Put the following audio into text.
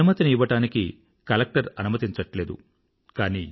అనుమతిని ఇవ్వడానికి కలక్టర్ అనుమతించట్లేదు